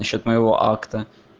насчёт моего акта